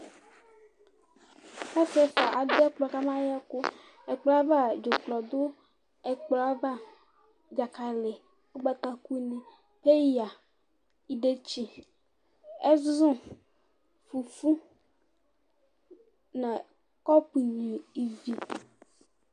Asɩ ɛfʋa adʋ ɛkplɔ kama yɛkʋ: ɛkplɔ ava, dzʋklɔ dʋ ɛkplɔ ava, dzakalɩ, ʋgbataku, peya, idetsi, ɛzʋ, fufu nʋ kɔpʋ nyuivi